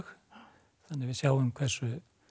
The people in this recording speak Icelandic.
þannig að við sjáum hversu